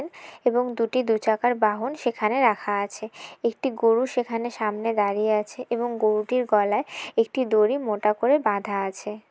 এবং দুটি দুই চাকার বাহন সেখানে রাখা আছে। একটি গরু সেখানে সামনে দাঁড়িয়ে আছে এবং গরুটির গলায় একটি দড়ি মোটা করে বাধা আছে।